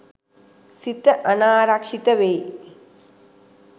සිත අනාරක්ෂිත වෙයි.